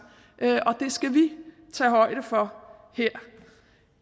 og det skal vi tage højde for her